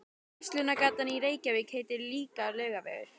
Verslunargatan í Reykjavík heitir líka Laugavegur.